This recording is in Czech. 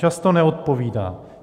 Často neodpovídá.